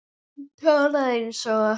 Hún talaði eins og